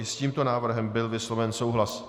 I s tímto návrhem byl vysloven souhlas.